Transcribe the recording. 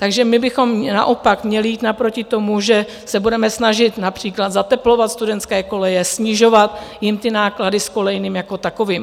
Takže my bychom naopak měli jít naproti tomu, že se budeme snažit například zateplovat studentské koleje, snižovat jim ty náklady s kolejným jako takovým.